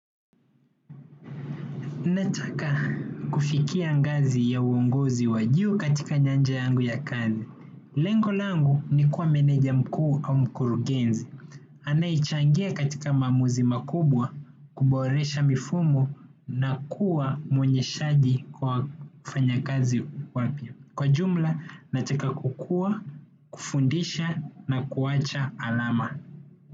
Nataka kufikia ngazi ya uongozi wa juu katika nyanja yangu ya kazi. Lengo langu ni kuwa meneja mkuu au mkurugenzi. Anayechangia katika maamuzi makubwa kuboresha mifumo na kuwa mwenye shadi kwa wafanyakazi wapya. Kwa jumla nataka kukua, kufundisha na kuwacha alama.